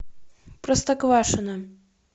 простоквашино